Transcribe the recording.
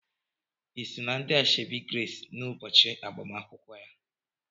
Ị sọ na ndị asoebi Grace n'ụbọchị agbamakwụkwọ ya.